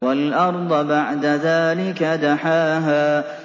وَالْأَرْضَ بَعْدَ ذَٰلِكَ دَحَاهَا